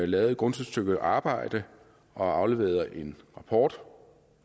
lavet et grundigt stykke arbejde og afleveret en rapport